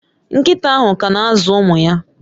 Nkita ahu kana azu umu ya